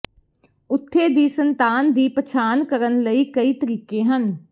ਉੱਥੇ ਦੀ ਸੰਤਾਨ ਦੀ ਪਛਾਣ ਕਰਨ ਲਈ ਕਈ ਤਰੀਕੇ ਹਨ